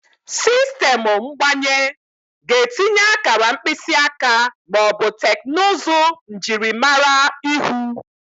Sistemụ mgbanye ga-etinye akara mkpịsị aka ma ọ bụ teknụzụ njirimara ihu.